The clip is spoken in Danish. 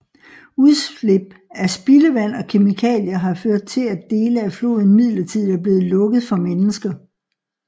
Udslip af spildevand og kemikalier har ført til at dele af floden midlertidigt er blevet lukket for mennesker